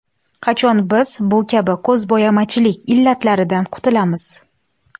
Qachon biz bu kabi ko‘zbo‘yamachilik illatlaridan qutulamiz?